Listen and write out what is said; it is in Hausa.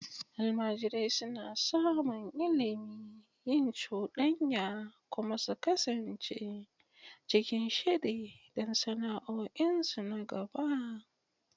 Almajirai suna samun ilimi, yin cuɗanya, kuma su kasance cikin shiri don sana'o'insu na gaba.